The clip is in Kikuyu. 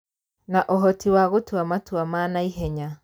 Na ũhoti wa gũtua matua ma naihenya